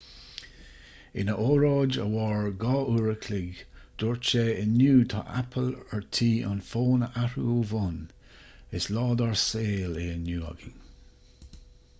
ina óráid a mhair 2 uair an chloig dúirt sé inniu tá apple ar tí an fón a athrú ó bhonn is lá dár saol é inniu againn